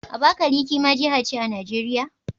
Abakaliki ma jiha ce a Najeriya?